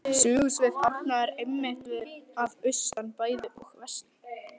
Sögusvið Árna er einmitt að austan bæði og vestan